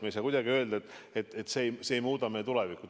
Me ei saa kuidagi öelda, et see ei muuda meie tulevikku.